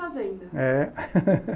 Fazenda. É.